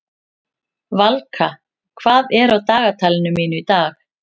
Valka, hvað er á dagatalinu mínu í dag?